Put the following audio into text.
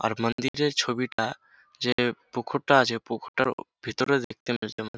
আর মান্দিরের ছবিটা যে পুকুর টা আছে পুকুরের ভিতরের দিকটা যেমন |